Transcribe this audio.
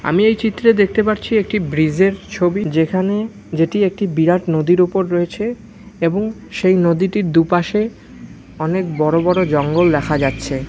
আমি এই চিত্রে দেখতে পারছি একটি ব্রিজ -এর ছবি যেখানে যেটি একটি বিরাট নদীর উপর রয়েছে এবং সেই নদীটির দুপাশে অনেক বড় বড় জঙ্গল দেখা যাচ্ছে ।